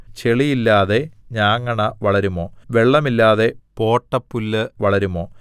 ചെളിയില്ലാതെ ഞാങ്ങണ വളരുമോ വെള്ളമില്ലാതെ പോട്ടപ്പുല്ല് വളരുമോ